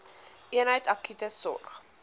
eenheid akute sorg